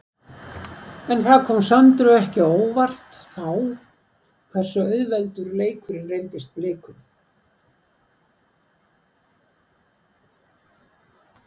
En kom það Söndru ekki á óvart þá hversu auðveldur leikurinn reyndist Blikum?